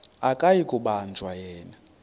akuyi kubanjwa yena